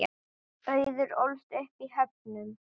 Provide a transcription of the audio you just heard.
Auður ólst upp í Höfnum.